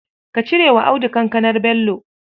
Ka cire wa Audu kankanar Bello.